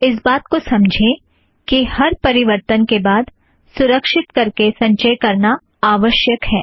इस बात को समझें कि हर परिवर्तन के बाद सुरक्षीत करके संचय करना आवश्यक है